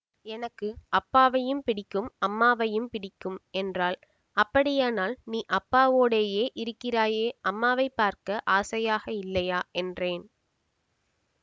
எனக்கு அப்பாவையும் பிடிக்கும் அம்மாவையும் பிடிக்கும் என்றாள் அப்படியானால் நீ அப்பாவோடேயே இருக்கிறாயே அம்மாவைப் பார்க்க ஆசையாக இல்லையா என்றேன்